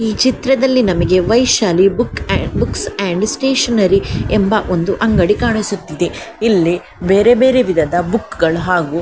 ಈ ಚಿತ್ರದಲ್ಲಿ ನಮಗೆ Vaishali book and books and stationery ಎಂಬ ಒಂದು ಅಂಗಡಿ ಕಾಣಿಸುತ್ತಿದೆ ಇಲ್ಲಿ ಬೇರೆ ಬೇರೆ ವಿಧದ ಬುಕ್ಗಳು ಹಾಗು --